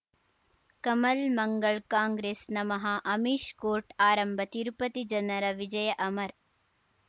ಕಮಲ್ ಮಂಗಳ್ ಕಾಂಗ್ರೆಸ್ ನಮಃ ಅಮಿಷ್ ಕೋರ್ಟ್ ಆರಂಭ ತಿರುಪತಿ ಜನರ ವಿಜಯ ಅಮರ್